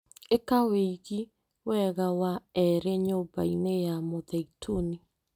ĩka wĩigi wega wa erĩ nyũmba-inĩ ya Mũtheituni